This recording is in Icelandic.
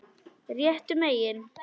Réttu megin?